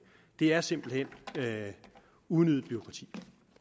det er simpelt hen unødigt bureaukrati